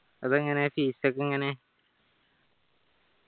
അതെങ്ങനെ fees ഒക്കെ എങ്ങനെ